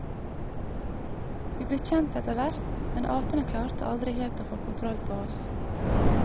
Vi ble kjent etter hvert, men apene klarte aldri helt å få kontroll på oss.